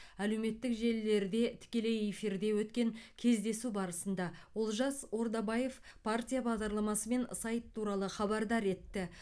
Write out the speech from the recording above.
әлеуметтік желілерде тікелей эфирде өткен кездесу барысында олжас ордабаев партия бағдарламасы мен сайт туралы хабардар етті